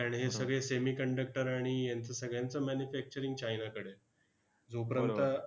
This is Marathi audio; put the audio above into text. कारण हे सगळे semi conductor आणि यांचं सगळ्यांचं manufacturing चाइनाकडे आहे. जोपर्यंत